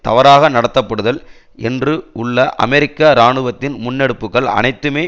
தவறாக நடத்தப்படுதல் என்று உள்ள அமெரிக்க இராணுவத்தின் முன்னெடுப்புகள் அனைத்துமே